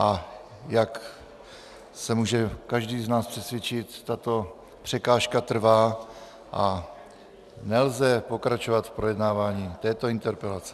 A jak se může každý z nás přesvědčit, tato překážka trvá a nelze pokračovat v projednávání této interpelace.